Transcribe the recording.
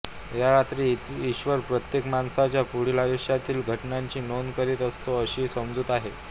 या रात्री ईश्वर प्रत्येक माणसाच्या पुढील आयुष्यातील घटनांची नोंद करीत असतो अशी समजूत आहे